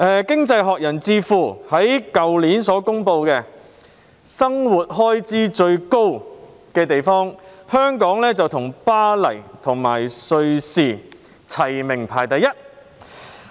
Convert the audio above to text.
經濟學人智庫去年就全球生活成本最高的城市發表報告，當中香港與巴黎和瑞士並列首位。